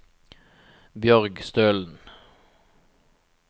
Bjørg Stølen